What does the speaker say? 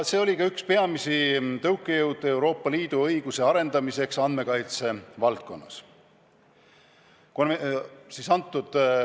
See oli ka üks peamisi tõukejõude Euroopa Liidu õiguse arendamiseks andmekaitse valdkonnas.